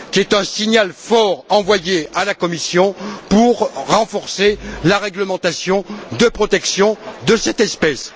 C'est un signal fort envoyé à la Commission pour renforcer la réglementation de protection de cette espèce.